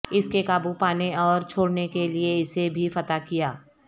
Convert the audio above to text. اس کے قابو پانے اور چھوڑنے کے لئے اسے بھی فتح کیا